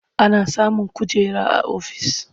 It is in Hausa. Ana samun kujera a ofis.